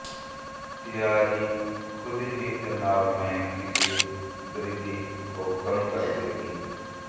तैयारी खुद ही तनाव में किसी वृद्धि को कम कर देगी